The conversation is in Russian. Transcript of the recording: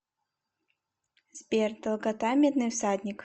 сбер долгота медный всадник